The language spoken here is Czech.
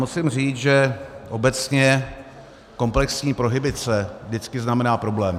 Musím říct, že obecně komplexní prohibice vždycky znamená problém.